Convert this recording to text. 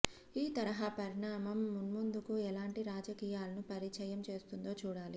ఈ తరహా పరిణామం మున్ముందుకు ఎలాంటి రాజకీయాలను పరిచయం చేస్తుందో చూడాలి